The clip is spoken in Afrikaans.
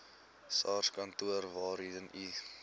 sarskantoor waarheen u